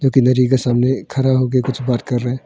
जो नदि के सामने खड़ा होकर कुछ बात कर रहे हैं।